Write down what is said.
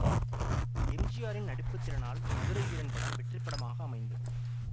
எம்ஜிஆரின் நடிப்பு திறனால் மதுரை வீரன் படம் வெற்றி படமாக அமைந்தது